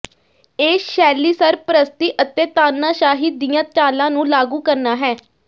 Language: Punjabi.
ਇਹ ਸ਼ੈਲੀ ਸਰਪ੍ਰਸਤੀ ਅਤੇ ਤਾਨਾਸ਼ਾਹੀ ਦੀਆਂ ਚਾਲਾਂ ਨੂੰ ਲਾਗੂ ਕਰਨਾ ਹੈ